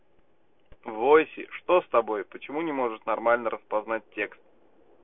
войси что с тобой почему не можешь нормально распознать текст